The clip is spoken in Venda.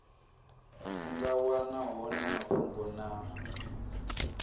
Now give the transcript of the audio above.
nga wana hone mafhungo na